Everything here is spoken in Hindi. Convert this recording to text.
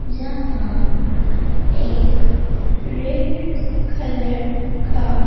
जहां एक रेड कलर का--